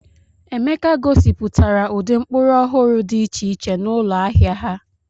Emeka gosipụtara ụdị mkpụrụ ọhụrụ dị iche iche n'ụlọ ahịa ha.